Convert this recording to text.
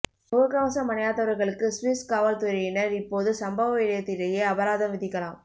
முகக் கவசம் அணியாதவர்களுக்கு சுவிஸ் காவல்துறையினர் இப்போது சம்பவயிடத்திலேயே அபராதம் விதிக்கலாம்